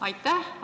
Aitäh!